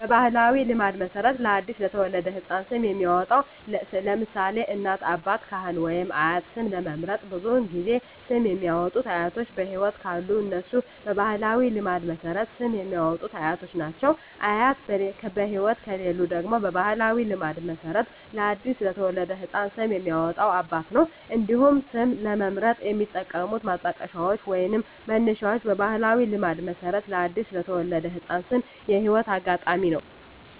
በባሕላዊ ልማድ መሠረት ለ አዲስ የተወለደ ሕፃን ስም የሚያወጣዉ (ለምሳሌ: ከእናት፣ አባት፣ ካህን ወይም አያት) ስም ለመምረጥ ብዙውን ጊዜ ስም የሚያወጡት አያቶች በህይወት ካሉ እነሱ በባህላዊ ልማድ መሠረት ስም የሚያወጡት አያቶች ናቸው። አያት በህይወት ከሌሉ ደግሞ በባህላዊ ልማድ መሠረት ለአዲስ የተወለደ ህፃን ስም የሚያወጣው አባት ነው። እንዲሁም ስም ለመምረጥ የሚጠቀሙት ማጣቀሻዎች ወይንም መነሻዎች በባህላዊ ልማድ መሠረት ለአዲስ የተወለደ ህፃን ስም የህይወት አጋጣሚ ነው።